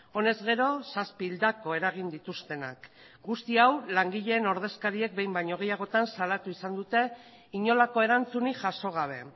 honez gero zazpi hildako eragin dituztenak guzti hau langileen ordezkariek behin baino gehiagotan salatu izan dute inolako erantzunik jaso gabe